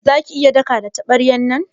Za ki iya daka da tabaryan nan?